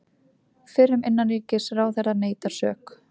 Fyrrum innanríkisráðherra neitar sök